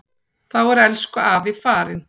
Þá er elsku afi farinn.